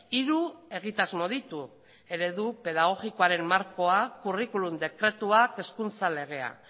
hiru egitasmo ditu eredu pedagogikoaren markoa curriculum dekretuak hezkuntza legeak